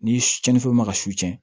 Ni cɛnnifɛnw ma ka su cɛn